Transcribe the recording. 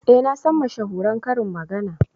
Eh nasan mashahuran karin magana.